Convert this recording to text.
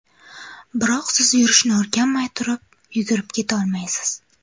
Biroq siz yurishni o‘rganmay turib, yugurib ketolmaysiz.